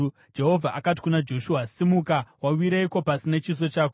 Jehovha akati kuna Joshua, “Simuka! Wawireiko pasi nechiso chako?